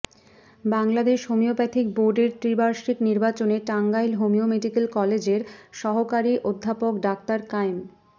Bangladesh homeopathic বোর্ডের ত্রিবার্ষিক নির্বাচনে টাঙ্গাইল হোমিও মেডিকেল কলেজের সহকারী অধ্যপক ডাঃ কায়েম